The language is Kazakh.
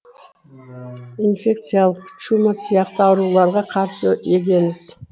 инфекциялық чума сияқты ауруларға қарсы егеміз